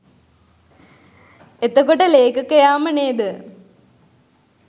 එතකොට ලේඛකයාම නේද